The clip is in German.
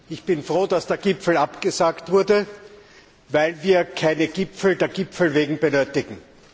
Ich bin froh, dass der Gipfel abgesagt wurde, weil wir keine Gipfel der Gipfel wegen benötigen.